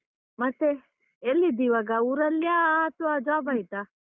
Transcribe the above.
ಮತ್ತೆ ಎಲ್ಲಿದ್ದೀ ಇವಾಗ ಊರಲ್ಯಾ ಅಥ್ವಾ job ಆಯ್ತಾ?